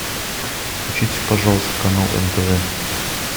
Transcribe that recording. включите пожалуйста канал нтв